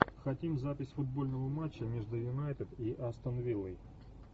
хотим запись футбольного матча между юнайтед и астон виллой